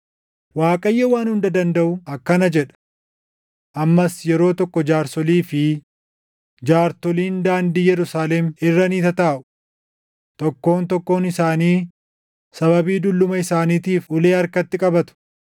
Waaqayyo Waan Hunda Dandaʼu akkana jedha: “Ammas yeroo tokko jaarsolii fi jaartoliin daandii Yerusaalem irra ni tataaʼu; tokkoon tokkoon isaanii sababii dulluma isaaniitiif ulee harkatti qabatu.